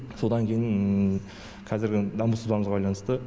содан кейін қазіргі даму сызбамызға байланысты